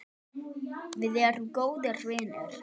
Við erum góðir vinir.